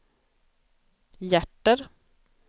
hjärter